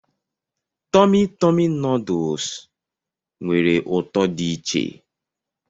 Tọmị Tọmị nuduls nwere ụtọ dị iche.